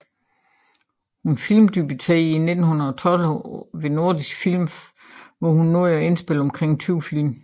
Hun filmdebuterede i 1912 hos Nordisk Film hvor hun nåede at indspille omkring 20 film